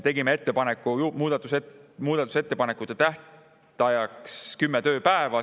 Tegime ettepaneku muudatusettepanekute tähtajaks 10 tööpäeva.